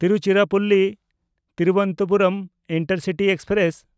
ᱛᱤᱨᱩᱪᱤᱨᱟᱯᱚᱞᱞᱤ-ᱛᱷᱤᱨᱩᱵᱚᱱᱛᱚᱯᱩᱨᱚᱢ intercity express